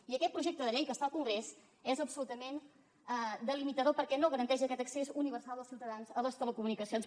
i aquest projecte de llei que està al congrés és absolutament delimitador perquè no garanteix aquest accés universal dels ciutadans a les telecomunicacions